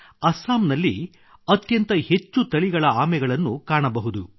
ಅಸ್ಸಾಂನಲ್ಲಿ ಅತ್ಯಂತ ಹೆಚ್ಚು ತಳಿಗಳ ಆಮೆಗಳನ್ನು ಕಾಣಬಹುದು